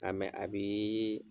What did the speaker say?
A a bii